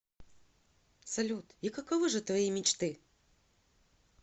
салют и каковы же твои мечты